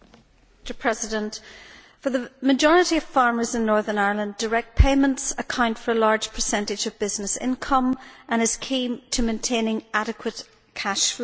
Mr President, for the majority of farmers in Northern Ireland, direct payments account for a large percentage of business income and are key to maintaining adequate cash flows.